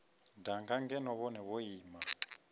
danga ngeno vhone vho ima